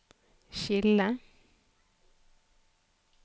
skille